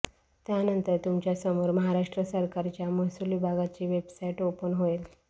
त्यानंतर तुमच्यासमोर महाराष्ट्र सरकारच्या महसूल विभागाची वेबसाईट ओपन होईल